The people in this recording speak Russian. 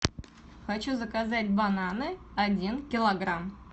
хочу заказать бананы один килограмм